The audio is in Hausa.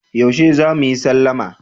Yaushe za mu yi sallama?